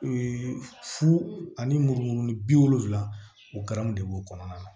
Ee fu ani muru ni bi wolonfila o garanw de b'o kɔnɔna na